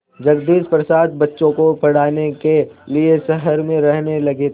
जगदीश प्रसाद बच्चों को पढ़ाने के लिए शहर में रहने लगे थे